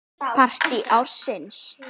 Partí ársins?